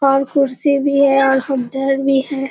और कुर्सी भी है और भी है।